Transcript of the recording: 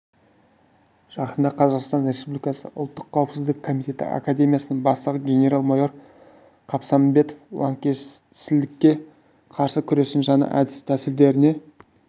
жақында қазақстан республикасы ұлттық қауіпсіздік комитеті академиясының бастығы генерал-майор қабсаметов лаңкесшілдікке қарсы күрестің жаңа әдіс-тәсілдеріне